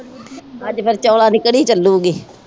ਅੱਜ ਫੇਰ ਚੋਲਾ ਦੀ ਕੜੀ ਚਲੂਗੀ